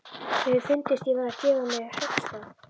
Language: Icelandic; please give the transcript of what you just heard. Mér hefði fundist ég vera að gefa á mér höggstað.